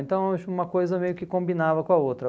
Então, acho que uma coisa meio que combinava com a outra.